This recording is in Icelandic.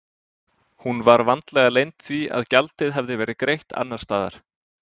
Hún var vandlega leynd því að gjaldið hafði verið greitt annars staðar.